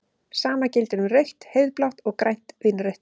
Sama gildir um rautt-heiðblátt og grænt-vínrautt.